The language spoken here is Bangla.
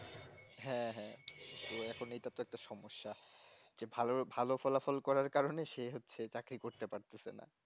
হ্যাঁ হ্যাঁ তো এখন এটা তো একটা সমস্যা যে ভালো ভালো ফলাফল করার কারণে সে হচ্ছে চাকরি করতে পারতেছে না